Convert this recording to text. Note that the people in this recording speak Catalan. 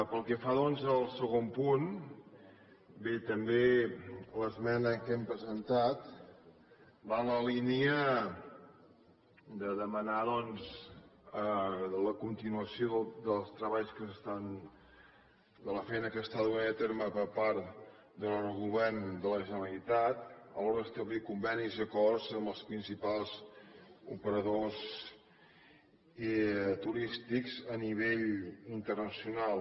pel que fa doncs al segon punt bé també l’esmena que hem presentat va en la línia de demanar la continuació dels treballs de la feina que s’està duent a terme per part del govern de la generalitat a l’hora d’establir convenis i acords amb els principals operadors turístics a nivell internacional